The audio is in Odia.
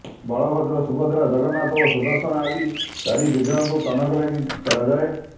ବଳଭଦ୍ର ସୁଭଦ୍ରା ଜଗନ୍ନାଥ ଓ ସୁଦର୍ଶନ ଆଦି ଚାରି ବିଗ୍ରହଙ୍କୁ ବନକ ଲାଗି କରାଯାଏ